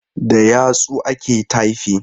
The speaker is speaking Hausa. Da yatsu ake taifin.